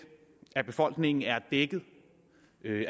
af befolkningen er dækket